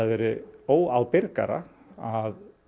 verið óábyrgara að